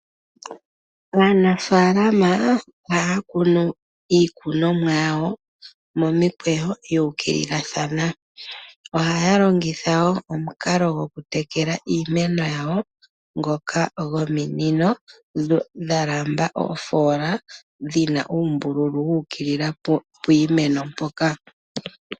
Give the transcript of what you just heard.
Aanafaalama ohaya kunu iikunomwa yawo momikweyo, ya ukililathana. ohaya longitha wo omukalo gokutekela iimeno yawo ngoka gominino, dha lamba oofoola, dhi na uumbululu wu ukilila piimeno mpoka.